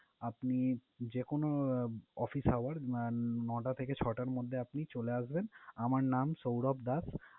আপনি যেকোনো office hour নয়টা থেকে ছয়টার মধ্যে আপনি চলে আসবেন। আমার নাম সৌরভ দাস।